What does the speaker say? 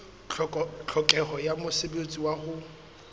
tlhokeho ya mosebetsi wa ho